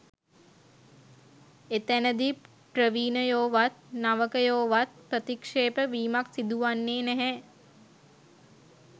එතැනදී ප්‍රවීණයෝවත් නවකයෝවත් ප්‍රතික්ෂේප වීමක් සිදුවන්නේ නැහැ